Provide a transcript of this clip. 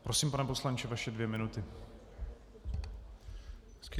Prosím, pane poslanče, vaše dvě minuty.